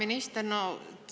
Hea minister!